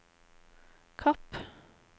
Kapp